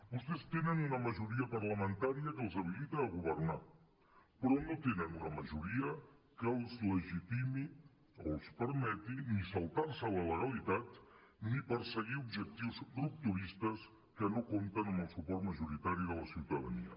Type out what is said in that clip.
vostès tenen una majoria parlamentària que els habilita a governar però no tenen una majoria que els legitimi o els permeti ni saltar se la legalitat ni perseguir objectius rupturistes que no compten amb el suport majoritari de la ciutadania